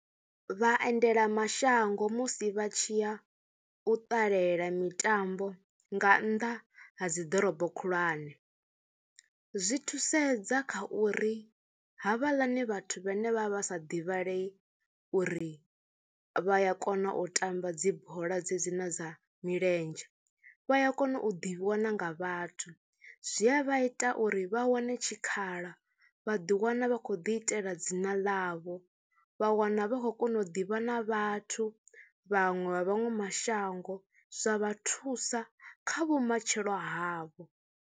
Vhaendelamashango musi vha tshi ya u ṱalela mitambo nga nnḓa ha dzi ḓorobo khulwane zwi thusedza kha uri havhaḽani vhathu vhane vha vha sa divhalei uri vha ya kona u tamba dzi bola dzedzi na dza milenzhe, vha ya kona u ḓivhiwa na nga vhathu, zwi a vha ita uri vha wane tshikhala, vha ḓiwana khou ḓiitela dzina ḽavho vha wana vha khou kona u ḓivha na vhathu vhaṅwe vha vhaṅwe mashango zwa vha thusa kha vhumatshelo havho.